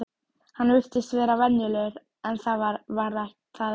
Hann virtist vera venjulegur en var það ekki.